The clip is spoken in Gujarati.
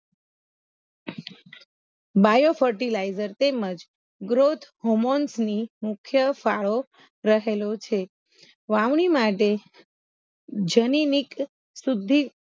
બયોફોર્ટીલાઈઝર તેમજ ગ્રોથ હોમોન્સ ની મુખ્ય ફાળો રહેલો છે વાવણી માટે જનીનિક સુદ્ધિ